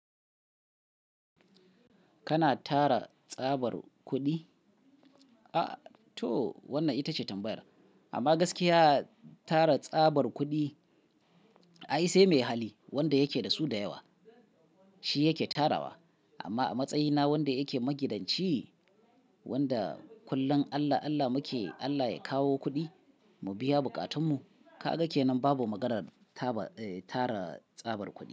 Kana tara tsabar kuɗi? A to wannan itace tambayar amma gaskiya tara tsabar kuɗi ai sai mai hali wanda yake da su da yawa shi yake tarawa. Amma a matsayina wanda yake magidanci, wanda kullum Allah, Allah muke, Allah ya kawo kuɗi mu biya bukatunmu. Ka ga kenan babu maganar taba tara tsabar kuɗi.